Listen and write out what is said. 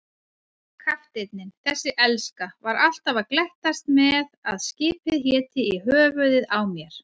Kafteinninn, þessi elska, var alltaf að glettast með að skipið héti í höfuðið á mér.